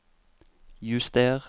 juster